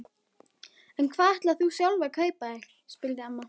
En hvað ætlar þú sjálf að kaupa þér? spurði amma.